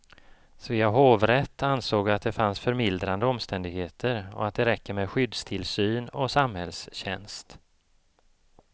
Svea hovrätt ansåg att det fanns förmildrande omständigheter och att det räcker med skyddstillsyn och samhällstjänst.